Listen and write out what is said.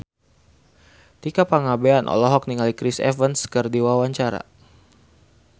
Tika Pangabean olohok ningali Chris Evans keur diwawancara